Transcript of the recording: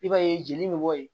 I b'a ye jeli bɛ bɔ yen